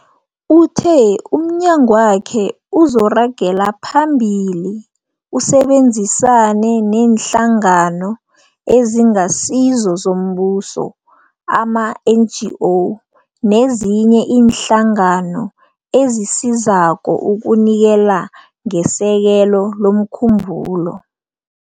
Uthe umnyagwakhe uzoragela phambili usebenzisane neeNhlangano eziNgasizo zoMbuso, ama-NGO, nezinye iinhlangano ezisizako ukunikela ngesekelo lomkhumbulo.